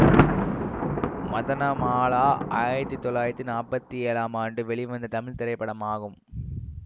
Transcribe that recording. மதனமாலா ஆயிரத்தி தொள்ளாயிரத்தி நாற்பத்தி ஏழாம் ஆண்டு வெளிவந்த தமிழ் திரைப்படமாகும்